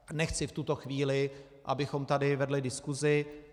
Nechci v tuto chvíli, abychom tady vedli diskusi.